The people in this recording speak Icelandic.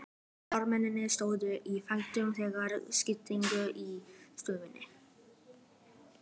Karlmennirnir stóðu á fætur þegar systkinin gengu í stofuna.